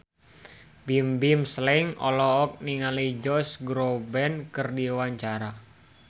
Bimbim Slank olohok ningali Josh Groban keur diwawancara